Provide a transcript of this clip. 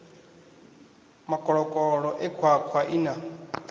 makoloko e khwakhwa ii na